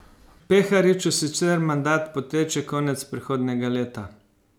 Perhariću sicer mandat poteče konec prihodnjega leta.